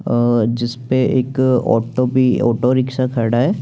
और जिसमे एक ऑटो भी ऑटो रिक्शा खड़ा है।